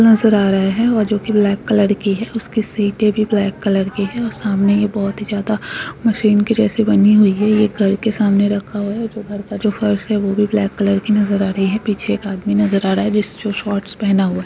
नजर आ रहे है। जो की ब्लैक कलर की है। उसके सीटे भी ब्लैक कलर के है। सामने में बहुत ज्यादा मशीन के जैसे बने हुए है। ये घर के समाने रखा है। और निचे का फर्श है वो भी ब्लैक कलर की नजर आ रही है। पीछे एक आदमी नजर आ रहा है। जो शॉर्ट्स पेहना हुआ नजर आ रहा है।